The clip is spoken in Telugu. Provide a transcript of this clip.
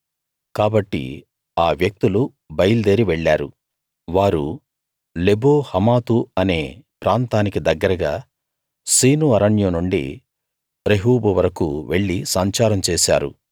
కాబట్టి ఆ వ్యక్తులు బయల్దేరి వెళ్ళారు వారు లెబో హమాతు అనే ప్రాంతానికి దగ్గరగా సీను అరణ్యం నుండి రెహోబు వరకూ వెళ్లి సంచారం చేశారు